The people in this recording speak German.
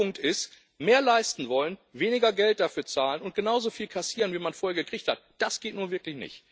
Mein Punkt ist Mehr leisten wollen, weniger Geld dafür zahlen und genauso viel kassieren, wie man vorher gekriegt hat das geht nun wirklich nicht.